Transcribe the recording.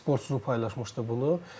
Spora çoxu paylaşmışdı bunu.